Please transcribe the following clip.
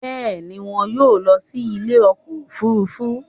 Bẹ́ẹ̀ni, wọn yóò lọ sí ilé ọkọ̀ òfurufú